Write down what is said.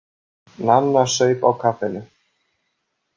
Nanna saup á kaffinu.